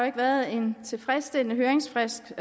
ikke været en tilfredsstillende høringsfrist